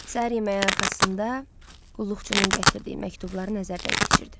Səhər yeməyi arxasında qulluqçunun gətirdiyi məktubları nəzərdən keçirdi.